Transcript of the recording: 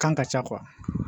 Kan ka ca